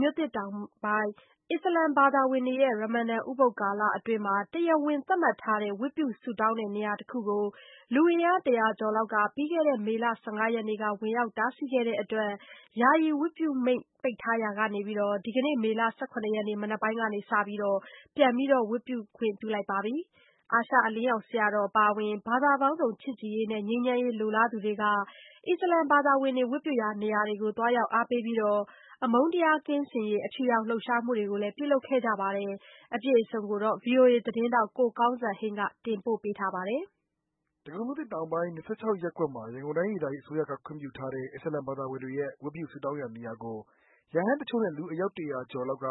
မြို့သစ်တောင်ပိုင်း အစ္စလာမ်ဘာသာဝင်တွေရဲ့ ရမ္မဒန် ဥပုဒ် ကာလအတွင်း တရားဝင်သတ်မှတ်ထားတဲ့ ဝတ်ပြုဆုတောင်းတဲ့ နေရာတခုကို လူအင်အား ၁၀၀ ကျော်လောက်က မေလ ၁၅ရက်က ဝင်ရောက်တားဆီးခဲ့တဲ့အတွက် ယာယီ ဝတ်ပြုမိန့် ပိတ်ထားရာကနေ ဒီကနေ့ မနက်ပိုင်းကစပီး ဝတ်ပြုခွင့်ပြုလိုက်ပါပီ။ အာရှအလင်းရောင်ဆရာတော်အပါအဝင် ဘာသာပေါင်းစုံ ချစ်ကြည်ရေးနဲ့ ငြိမ်းချမ်းရေး လိုလားသူတွေက အစ္စလာမ်ဘာသာဝင်တွေ ဝတ်ပြုရာနေရာတွေကို သွားရောက်အားပေးပြီး အမုန်းတရား ကင်းစင်ရေး အဖြူရောင်လှုပ်ရှားမှုတွေကို ပြုလုပ်ခဲ့ကြပါတယ်။ အပြည့်အစုံကိုတော့ ကိုကောင်းစံဟိန်းကပြောပြပေးမှာပါ။ ဒဂုံမြို့သစ်တောင်ပိုင်း ၂၆ ရပ်ကွက်မှာ ရန်ကုန်တိုင်းဒေသကြီး အစိုးရခွင့်ပြုထားတဲ့ အစ္စလာမ်ဘာသာဝင်တွေရဲ့ ဝတ်ပြုဆုတောင်းရာနေရာကို ရဟန်းတချို့နဲ့ လူအယောက် ၁၀၀ ကျော်လောက်က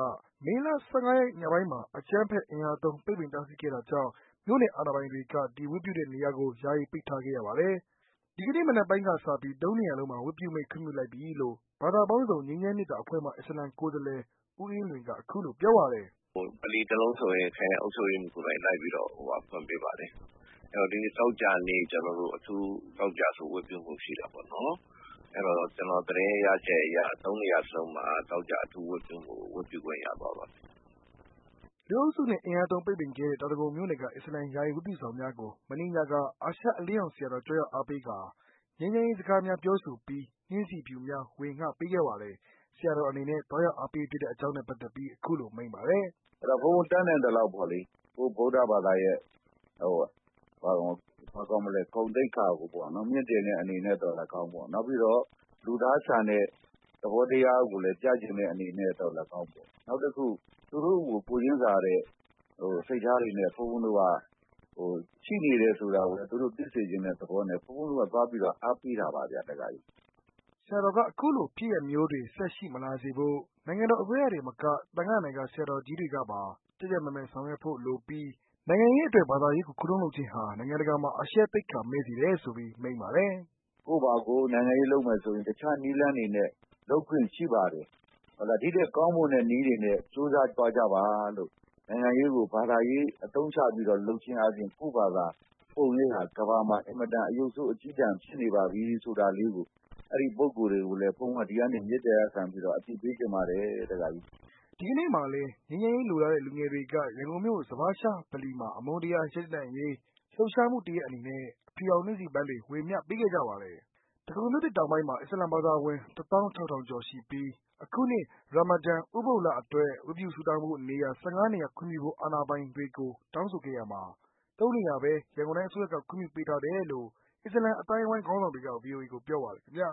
မေလ ၁၅ရက် ညပိုင်းမှာ အကြမ်းဖက်အင်အားသုံး ပိတ်ပင်တားဆီးခဲ့တာကြောင့် မြို့နယ်အာဏာပိုင်တွေက ဒီဝတ်ပြုတဲ့နေရာကို ယာယီပိတ်ထားခဲ့ရပါတယ်။ ဒီကနေ့မနက်ပိုင်းကစပီး ၃နေရာလုံးမှာ ဝတ်ပြုမိန့် ခွင့်ပြုလိုက်ပြီလို့ ဘာသာပေါင်းစုံ ငြိမ်းချမ်းမေတ္တာ အဖွဲ့မှ အစ္စလာမ် ကိုယ်စားလှယ် ဦးအေးလွင်က အခုလို ပြောပါတယ်။ "ဗလီတစ်လုံးဆိုရင် ခရိုင်အုပ်ချုပ်ရေးမှူးကိုယ်တိုင် ခွင့်ပေးပါတယ်။ ဒီနေ့ သောကြာနေ့အထူး ဝတ်ပြုဖို့ရှိတာပေါ့နော် အဲ့တော့ ကျနော်တို့ သတင်းရချက်အရ ၃ နေရာစလုံးအထူးဝတ်ပြုဖို့ ရသွားပါပီ။" လူအုပ်စုနဲ့ အင်အားသုံး ပိတ်ပင်ခဲ့တဲ့ တောင်ဒဂုံမြို့နယ်က အစ္စလမ် ယာယီဝတ်ပြုဆောင်များကို မနေ့ညက အာရှအလင်းရောင်ဆရာတော် ကြွရောက်အားပေးကာ ငြိမ်းချမ်းရေးစကားများ ပြောဆိုပြီး ငြိမ်းချမ်းရေး နှင်းဆီဖြူများ ဝေငှပေးခဲ့ပါတယ်။ ဆရာတော် အနေနဲ့ သွားရောက်အားပေးဖြစ်တဲ့ အကြောင်းနဲ့ ပက်သက်ပြီး အခုလို မိန့်ပါတယ်။ "ဘုန်းဘုန်းတတ်နိုင်သလောက် ဗုဒ္ဓဘာသာရဲ့ဂုဏ်သိက္ခာကို မြှင့်တင်တဲ့အနေနဲ့သော်လည်းကောင်း နောက်ပီးတော့ လူသားဆန်တဲ့ သဘောတရားကို ပြချင်တဲ့အနေနဲ့၊နောက်တစ်ခု သူတို့ကို ကိုယ်ချင်းစာတဲ့သဘောတရား ရှိနေတယ်ဆိုတာကိုလည်း သူတို့ကို သိစေချင်တဲ့ သဘောနဲ့ ဘုန်းဘုန်းတို့က သွားပီးတော့ အားပေးတာပါဗျ။" ဆရာတေ်ာ အခုလို ဖြစ်ရပ်မျိုးတွေ ဆက်ရှိမလာစေဖို့ နိုင်ငံတေ်ာ အစိုးရတင်မက သံဃာ့နာယက ဆရာတေ်ာကြီးတွေကပါ ကြပ်ကြပ်မတ်မတ် ဆောင်ရွက်ဖို့လိုပြီး နိုင်ငံရေးအတွက် ဘာသာရေးကို ခုတုံးလုပ်ခြင်းဟာ နိုင်ငံတကာမှာ အရှက်သိက္ခာမဲ့စေတယ်ဆိုပီး မိန့်ပါတယ်။ "ကိုယ့်ဘာကို နိုင်ငံရေး လုပ်မယ်ဆိုရင် အခြားနည်းလမ်းတွေနဲ့ လုပ်ခွင့်ရှိပါတယ်။ဒီ့ထက်ကောင်းမွန်တဲ့ နည်းတွေနဲ့ ကြိုးစားသွားကြပါလို့ နိုင်ငံရေးကို ဘာသာရေးလုပ်ခြင်းအားဖြင့် ကိုယ့်ဘာသာ ပုံရိပ်ဟာ ကမ္ဘာမှာအရုပ်ဆိုး အကျည်းတန် ဖြစ်နေပါပီဆိုတာလေးကို အဲ့ဒီပုဂ္ဂိုလ်တွေကို ဒီကနေအသိပေးချင်ပါတယ်။" ဒီကနေ့မှာလည်း ငြိမ်းချမ်းရေး လိုလားတဲ့ လူငယ်တွေက ရန်ကုန်မြို့ ဇဖါရှ်ရှား ဗလီမှာ အမုန်းတရား ရပ်တန့်ရေး လှုပ်ရှားမှုတရပ်အနေနဲ့ အဖြူရောင်နှင်းဆီပန်းတွေ ဝေမျှခဲ့ကြပါတယ်။ ဒဂုံမြို့သစ် တောင်ပိုင်းမှာ အစ္စလာမ်ဘာသာဝင် ၁၆,၀၀၀ ကျော်ရှိပြီး အခုနှစ် ရာမ္မဒန်ဥပုဒ်လအတွက် ဝတ်ပြုဆုတောင်းဖို့နေရာ ၁၅နေရာ ခွင့်ပြုဖို့ အာဏာပိုင်တွေကို တောင်းခံခဲ့ရာမှာ ၃နေရာပဲ ရန်ကုန်တိုင်းအစိုးရ ခွင့်ပြူပေးထားတယ်လို့ အစ္စလာမ်အသိုင်းအဝိုင်းခေါင်းဆောင်တွေက ဗွီအိုအေကိုပြောပါတယ် ခင်ဗျာ